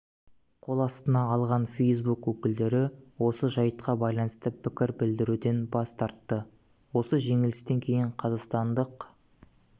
қол астына алған фейсбук өкілдері осы жайтқа байланысты пікір білдіруден бас тартты осы жеңілістен кейін қазақстандық